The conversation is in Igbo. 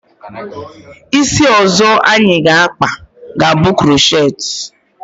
Isi ọzọ anyị ga akpa, ga bụ krochet